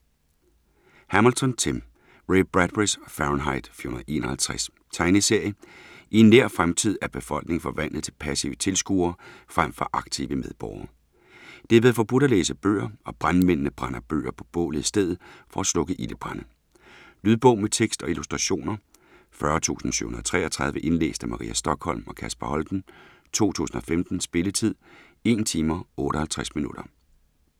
Hamilton, Tim: Ray Bradburys Fahrenheit 451 Tegneserie. I en nær fremtid er befolkningen forvandlet til passive tilskuere frem for aktive medborgere. Det er blevet forbudt at læse bøger, og brandmændene brænder bøger på bålet i stedet for at slukke ildebrande. Lydbog med tekst og illustrationer 40733 Indlæst af Maria Stokholm og Kasper Holten, 2015. Spilletid: 1 timer, 58 minutter.